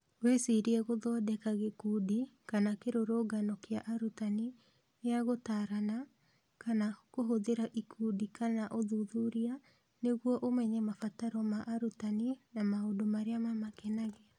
Wĩcirie gũthondeka gĩkundi kana kĩrũrũngano kĩa arutani gĩa gũtaarana, kana kũhũthĩra ikundi kana ũthuthuria nĩguo ũmenye mabataro ma arutani na maũndũ marĩa mamakenagia.